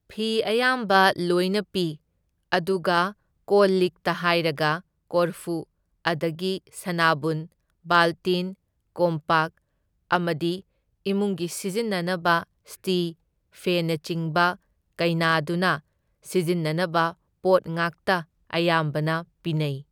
ꯐꯤ ꯑꯌꯥꯝꯕ ꯂꯣꯏꯅ ꯄꯤ ꯑꯗꯨꯒ ꯀꯣꯜ ꯂꯤꯛꯇ ꯍꯥꯏꯔꯒ ꯀꯣꯔꯐꯨ ꯑꯗꯒꯤ ꯁꯅꯥꯕꯨꯟ, ꯕꯥꯜꯇꯤꯟ, ꯀꯣꯝꯄꯥꯛ ꯑꯃꯗꯤ ꯏꯃꯨꯡꯒꯤ ꯁꯤꯖꯤꯟꯅꯅꯕ ꯁ꯭ꯇꯤ, ꯐꯦꯟꯅꯆꯤꯡꯕ ꯀꯩꯅꯥꯗꯨꯅ ꯁꯤꯖꯤꯟꯅꯅꯕ ꯄꯣꯠ ꯉꯥꯛꯇ ꯑꯌꯥꯝꯕꯅ ꯄꯤꯅꯩ꯫